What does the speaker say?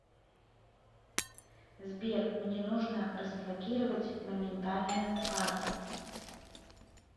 сбер мне нужно разблокировать моментальную карту